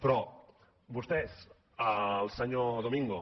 però vostès el senyor domingo